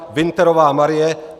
Winterová Marie